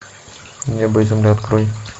небо и земля открой